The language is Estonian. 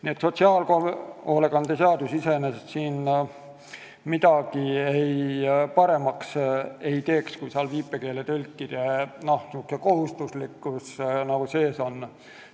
Nii et teistsugune sotsiaalhoolekande seadus iseenesest midagi paremaks ei teeks, kui seal viipekeeletõlkide kohustuslikkus sees oleks.